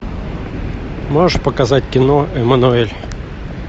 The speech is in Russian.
можешь показать кино эммануэль